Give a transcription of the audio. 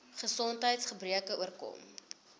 gesondheids gebreke oorkom